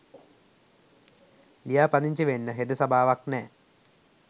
ලියාපදිංචි වෙන්න හෙද සභාවක් නෑ.